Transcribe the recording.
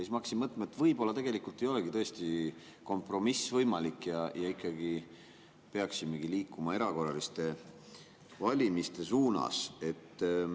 Ma hakkasin mõtlema, et võib-olla ei olegi tõesti kompromiss võimalik ja me peaksimegi liikuma erakorraliste valimiste suunas.